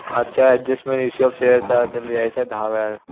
आजच्या अड्जस्ट मध्ये issue of shares चा अर्थ लिहायचा दहा वेळा